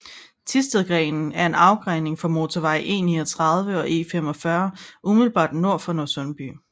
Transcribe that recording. Thistedgrenen er en afgrening fra motorvej E39 og E45 umiddelbart nord for Nørresundby